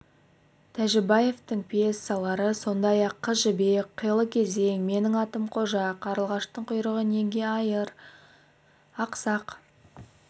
тәжібаевтың пьесалары сондай-ақ қыз жібек қилы кезең менің атым қожа қарлығаштың құйрығы неге айыр ақсақ